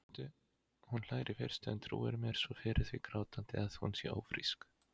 Hún hlær í fyrstu, en trúir mér svo fyrir því grátandi, að hún sé ófrísk.